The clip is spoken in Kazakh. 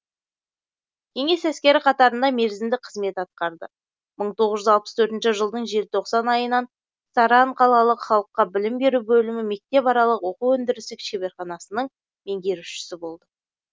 кеңес әскері қатарында мерзімді қызмет атқарды мың тоғыз жүз алпыс төртінші жылдың желтоқсан айынан сарань қалалық халыққа білім беру бөлімі мектепаралық оқу өндірістік шеберханасының меңгерушісі болды